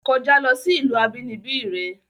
Kojá lo sí ìlú abínibí re!